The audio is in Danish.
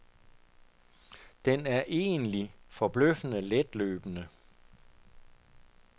Den er egentlig forbløffende letløbende.